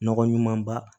Nɔgɔ ɲuman ba